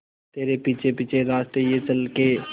तेरे पीछे पीछे रास्ते ये चल के